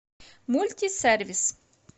мультисервис